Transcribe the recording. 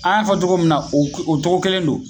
An y'a fɔ togo min na o o tɔgɔ kelen don